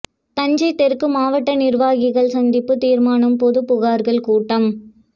தஞ்சை தெற்கு மாவட்ட நிர்வாகிகள் சந்திப்பு தீர்மானம் பொது புகார்கள் கூட்டம்